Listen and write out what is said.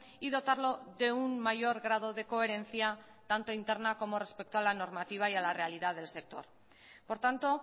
y dotarlo de un mayor grado de coherencia tanto interna como respecto a la normativa y a la realidad del sector por tanto